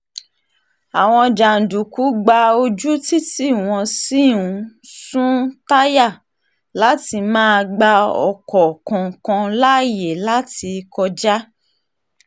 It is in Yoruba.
àwọn jàǹdùkú gba ojú títí wọ́n sì ń sun táyà láti má um gba ọkọ̀ kankan láàyè láti um kọjá